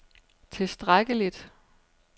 tilstrækkeligt